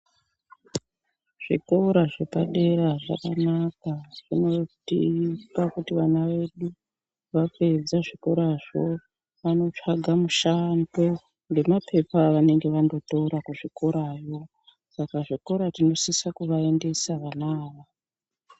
Zvikora zvepadera zvakanaka zvinoite kuti vantu vaende vapedza zvikorazvo vanotsvaga mushando ngemapepa avanenge vanotora kuzvikorayo saka zvikora tinosisa kuvaendesa vana ava.